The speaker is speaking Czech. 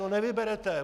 No nevyberete!